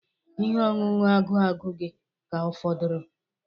Ihe ọṅụṅụ agụ agụ gị ka fọdụrụ?